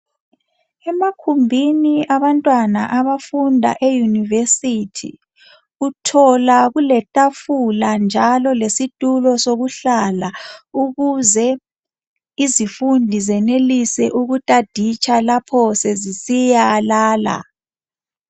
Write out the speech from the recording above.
Emakhumbini abantwana abafunda eyunivesithi uthola kuletafula njalo lesitulo sokuhlala, ukuze izifundi zenelise ukutaditsha lapho sezisiyalala.